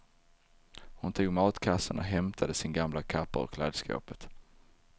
Hon tog matkassen och hämtade sin gamla kappa ur klädskåpet.